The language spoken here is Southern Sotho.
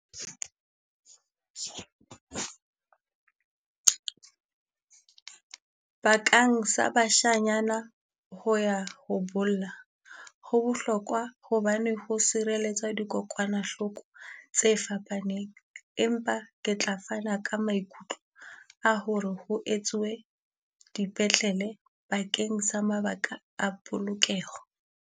Bakang sa bashanyana ho ya ho bolla, ho bohlokwa hobane ho sireletsa dikokwanahloko tse fapaneng. Empa ke tla fana ka maikutlo a ho re ho etsuwe dipetlele bakeng sa mabaka a polokeho.